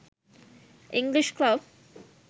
english club